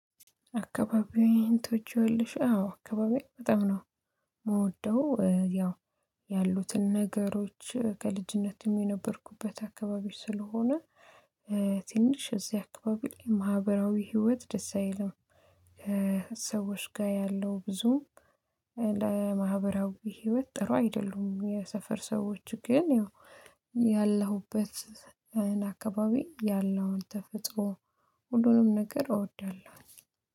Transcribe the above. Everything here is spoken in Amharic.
አካባቢውን ትወጂዋለሽ? አዎ አካባቢው በጣም ነው። የምወደው ያው ያሉትን ነገሮች ከልጅነት የነበርኩበት አካባቢ ስለሆነ ትንሽ እዚህ አካባቢ ማህበራዊ ህይወት ደስ አይልም። ሰዎች ጋር ያለው ብዙ ለማህበራዊ ህይወት ጥሩ አይደሉም የሰፈር ሰዎች ግን ያለሁበት አካባቢ ያለውን ተፈጥሮ ሁሉንም ነገር እወዳለሁ